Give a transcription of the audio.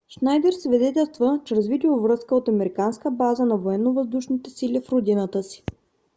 шнайдер свидетелства чрез видеовръзка от американска база на военновъздушните сили в родината си